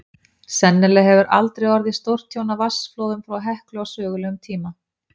Sennilega hefur aldrei orðið stórtjón af vatnsflóðum frá Heklu á sögulegum tíma.